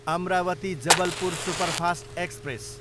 Amravati, Jabalpur superfast express